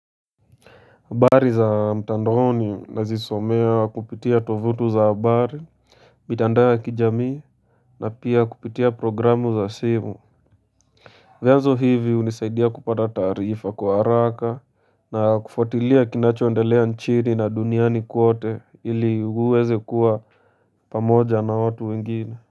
Habari za mtandaoni nazisomea kupitia tovuti za habari mitandao ya kijamii na pia kupitia programu za simu. Vianzo hivi hunisaidia kupata tarifa kwa haraka na kufuatilia kinachoendelea nchini na duniani kote ili uweze kuwa pamoja na watu wengine.